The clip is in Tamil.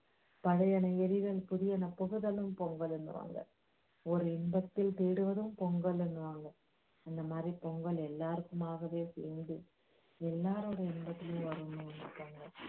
பழையன எரிதலும் புதியன புகுதலும் பொங்கலுன்னுவாங்க ஒரு இன்பத்தைத் தேடுவதும் பொங்கலுன்னுவாங்க அந்த மாதிரி பொங்கல் எல்லாருக்குமாகவே எல்லாருடைய இன்பத்திலும் வரும் இந்த பொங்கல்